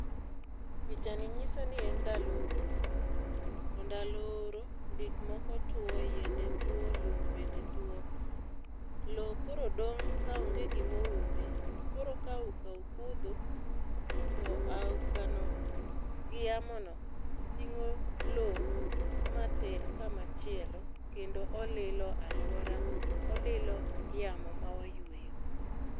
pichani nyiso ni en ndalo oro. Ndalo oro, gik moko two, yiende two, lum bende two. Lowo koro dong ka onge gima oume. Koro ka auka okudho, to aukano, gi yamono, tingó lowo mater kama chielo. Kendo olilo alwora, olilo yamo ma wayweyo.